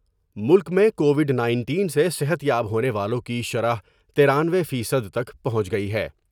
ملک میں Covid nineteen سے صحت یاب ہونے والوں کی شرح ترانوے فیصد تک پہنچ گئی ہے ۔